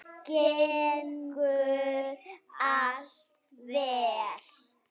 Gengur allt vel?